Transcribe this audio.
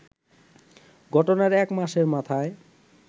ঘটনার এক মাসের মাথায়